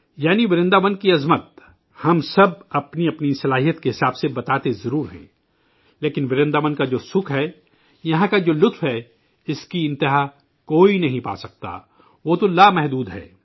یعنی ورنداون کی شان، ہم سب اپنی اپنی استطاعت کے مطابق بیان ضرور کرتے ہیں، لیکن ورنداون کی سکھ ہے، یہاں کا رس ہے، اس کاآخری سراکوئی نہیں پا سکتا، وہ تو لامحدود ہے